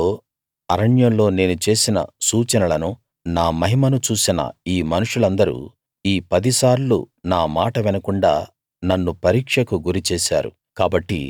ఐగుప్తులో అరణ్యంలో నేను చేసిన సూచనలనూ నా మహిమను చూసిన ఈ మనుషులందరూ ఈ పదిసార్లు నా మాట వినకుండా నన్ను పరీక్షకు గురి చేశారు